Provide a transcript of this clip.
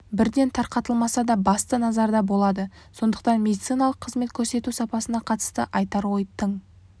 бірден тарқатылмаса да басты назарда болады сондықтан медициналық қызмет көрсету сапасына қатысты айтар ой тың